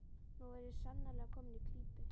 Nú var ég sannarlega kominn í klípu!